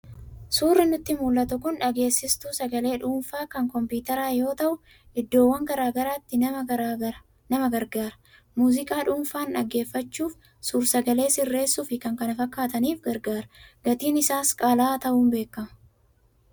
Suurri nutti mul'atu kun dhageessistuu sagalee dhuunfaa kan kompiitaraa yoo ta'u, iddoowwan garaa garaatti nama gargaara. Muuziqaa dhuunfaan dhaggeeffachuuf, suur-sagalee sirreessuuf, fi kan kana fakkaataniif gargaara. Gatiin isaas qaala'aa ta'uun beekama.